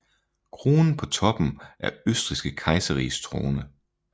Kronen på toppen er Østrigske kejserriges krone